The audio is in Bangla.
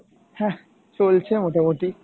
হ্যাহ চলছে মোটামোটি।